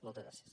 moltes gràcies